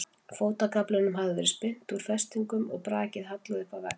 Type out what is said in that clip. Fótagaflinum hafði verið spyrnt úr festingum og brakinu hallað upp að vegg.